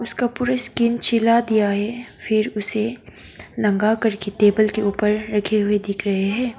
उसका पूरा स्किन छिला दिया है फिर उसे नंगा करके टेबल के ऊपर रखे हुए दिख रहे हैं।